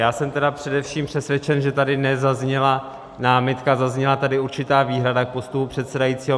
Já jsem tedy především přesvědčen, že tady nezazněla námitka, zazněla tady určitá výhrada k postupu předsedajícího.